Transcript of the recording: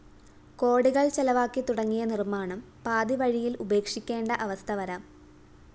കോടികള്‍ ചെലവാക്കി തുടങ്ങിയ നിര്‍മ്മാണം പാതിവഴിയില്‍ ഉപേക്ഷിക്കേണ്ട അവസ്ഥ വരാം